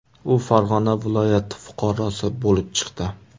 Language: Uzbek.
U Farg‘ona viloyati fuqarosi bo‘lib chiqdi.